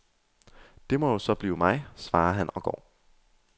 Det må jo så blive mig, svarer han og går.